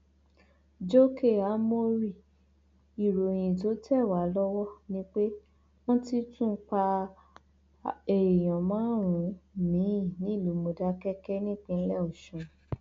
jókè ámórì ìròyìn tó tẹ wá lọwọ ni pé wọn ti tún pa èèyàn márùnún miín nílùú mòdákẹkẹ nípínlẹ ọsùn